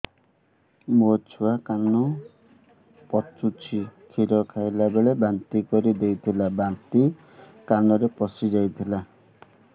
ମୋ ଛୁଆ କାନ ପଚୁଛି କ୍ଷୀର ଖାଇଲାବେଳେ ବାନ୍ତି କରି ଦେଇଥିଲା ବାନ୍ତି କାନରେ ପଶିଯାଇ ଥିଲା